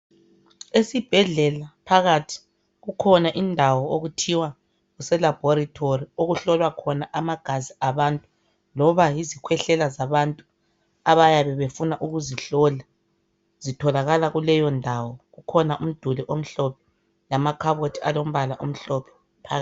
Esibhedlela phakathi kukhona indawo okuthiwa kuselabhorithori okuhlolwa khona amagazi abantu loba yizikhwehlela zabantu abayabe befuna ukuzihlola zitholakala kuleyondawo. Kukhona umduli omhlophe lamakhabothi alombala omhlophe.